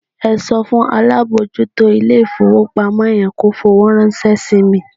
Ẹ sọ fún alábòójútó ilé-ìfowópamọ́ yẹn kó fowó ránṣẹ́ sí mi.